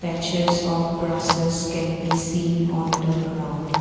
patches of grasses can be seen on the ground.